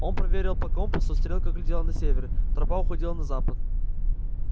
он проверил по компасу стрелка глядела на север тропа уходила на запад